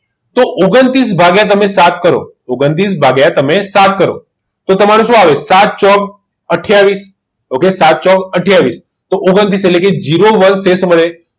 તો ઓગણતીસ ભાગિયા સાત કરો ઓગન્ત્રિસ ભાગિયા તમે સાત કરો તો તમારું સુ આવિયું સાત ચોક એથીયવિસ okay સાત ચોક આથીયાવીસ તો ઓગન્ત્રિસ એટલે કે